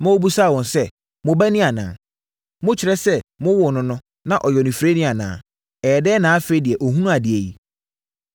ma wɔbisaa wɔn sɛ, “Mo ba ni anaa? Mokyerɛ sɛ mowoo no no, na ɔyɛ onifirani anaa? Ɛyɛɛ dɛn na afei deɛ ɔhunu adeɛ yi?”